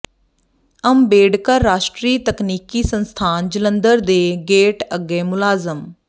ਅੰਬੇਡਕਰ ਰਾਸ਼ਟਰੀ ਤਕਨੀਕੀ ਸੰਸਥਾਨ ਜਲੰਧਰ ਦੇ ਗੇਟ ਅੱਗੇ ਮੁਲਾਜ਼ਮ ਵਿ